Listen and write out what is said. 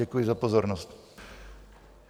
Děkuji za pozornost.